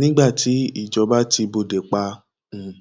nígbà tí ìjọba ti bóde pa à um